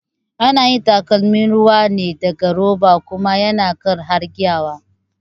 Ana yin takalmin ruwa ne daga roba kuma yana kai har gyiwa